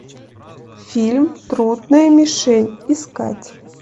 фильм трудная мишень искать